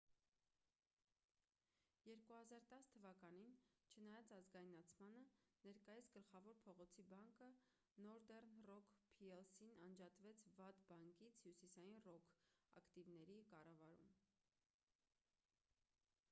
2010 թ.-ին չնայած ազգայնացմանը ներկայիս գլխավոր փողոցի բանկը նորդեռն ռոք փի-էլ-սին անջատվեց ’վատ բանկից’՝ հյուսիսային ռոք ակտիվների կառավարում: